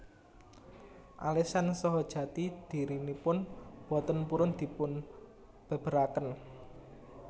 Alesan saha jati dhirinipun boten purun dipunbèbèraken